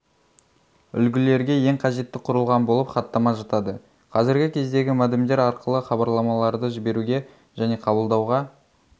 үлгілерге ең қажетті құрылған болып хаттама жатады қазіргі кездегі модемдер арқылы хабарламаларды жіберуге және қабылдауға